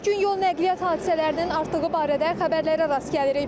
Hər gün yol nəqliyyat hadisələrinin artığı barədə xəbərlərə rast gəlirik.